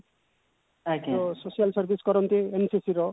ଯେ social service କରନ୍ତି NCC ର